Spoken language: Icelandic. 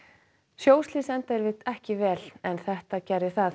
sjóslys enda yfirleitt ekki vel en þetta gerði það